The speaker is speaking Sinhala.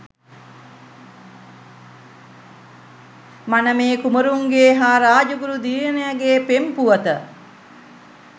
මනමේ කුමරුන්ගේ හා රාජගුරු දියණියගේ පෙම් පුවත